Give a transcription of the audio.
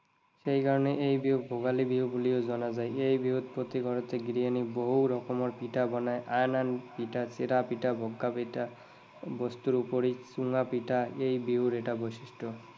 সেইকাৰণে এই বিহুক ভোগালী বিহু বুলিও জনা যায়। এই বিহুত প্ৰতি ঘৰতেই গৃহিণীয়ে বহু ৰকমৰ পিঠা বনায়, আন আন চিৰা, পিঠা, বগা পিঠা, বস্তুৰ ওপৰি চুঙা পিঠা এই বিহুৰ এটা বৈশিষ্ট্য।